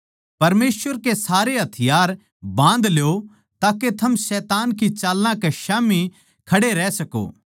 परमेसवर के सारे हथियार बाँध ल्यो ताके थम शैतान की चालां कै स्याम्ही खड़े रह सको